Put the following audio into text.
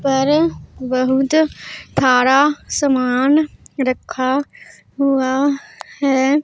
पर बहुत थारा सामान रखा हुआ है।